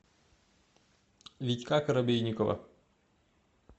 витька коробейникова